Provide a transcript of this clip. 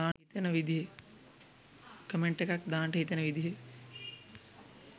comment එකක් දාන්ට හිතෙන විදිහේ